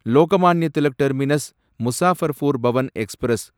Lokmanya Tilak terminus Muzaffarpur Pawan express